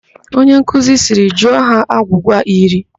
Onye nkuzi sịrị "jụọ ha agwụgwa iri"!